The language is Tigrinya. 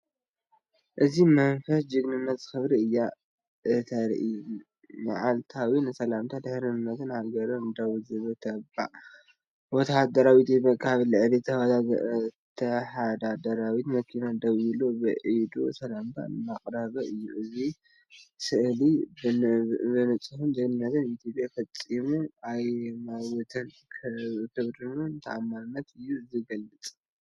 እዚ መንፈስ ጅግንነትን ክብርን እያ እተርኢ። መዓልታዊ ንሰላምን ድሕንነትን ሃገሩ ደው ዝብል ተባዕ ወተሃደር ኢትዮጵያ ኣብ ልዕሊ ወተሃደራዊት መኪና ደው ኢሉ፣ ብኢዱ ሰላምታ እንዳቅረበ እዩ። እዚ ስእሊ ብንጹር ን “ጅግንነት ኢትዮጵያ ፈጺሙ ኣይመውትን፣ ብኽብርን ተኣማንነትን እዩ ዝገልፅ።”